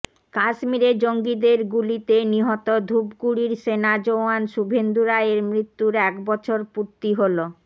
কাশ্মীরে জঙ্গিদের গুলিতে নিহত ধূপগুড়ির সেনা জওয়ান শুভেন্দু রায়ের মৃত্যুর এক বছর পূর্তি হল